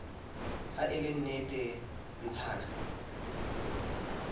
ha le ne le ntshana